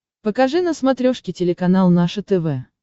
покажи на смотрешке телеканал наше тв